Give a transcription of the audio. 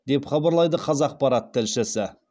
деп хабарлайды қазақпарат тілшісі